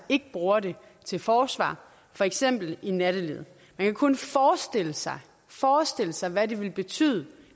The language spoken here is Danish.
ikke bruger det til forsvar for eksempel i nattelivet man kan kun forestille sig forestille sig hvad det ville betyde